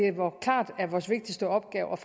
klart er vores vigtigste opgave